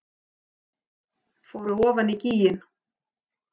Fóru ofan í gíginn